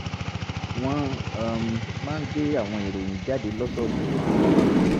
wọ́n um máa ń gbé àwọn ìròyìn jáde lọ́sọ̀ọ̀sẹ̀